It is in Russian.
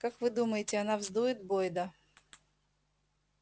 как вы думаете она вздует бойда